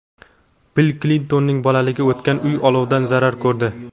Bill Klintonning bolaligi o‘tgan uy olovdan zarar ko‘rdi.